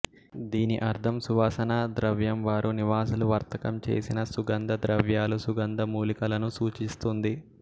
దీని అర్ధం సువాసనా ద్రవ్యం వారు నివాసులు వర్తకం చేసిన సుగంధ ద్రవ్యాలు సుగంధ మూలికలను సూచిస్తుంది